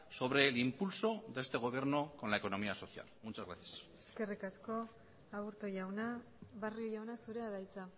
sobre el impulso de este gobierno con la economía social muchas gracias eskerrik asko aburto jauna barrio jauna zurea da hitza